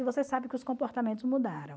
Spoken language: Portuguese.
E você sabe que os comportamentos mudaram.